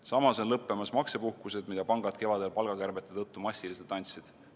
Samas on lõppemas maksepuhkused, mida pangad kevadel palgakärbete tõttu massiliselt andsid.